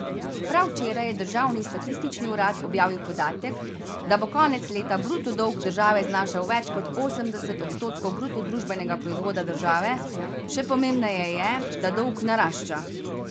Prav včeraj je državni statistični urad objavil podatek, da bo konec leta bruto dolg države znašal več kot osemdeset odstotkov bruto družbenega proizvoda države, še pomembneje je, da dolg narašča.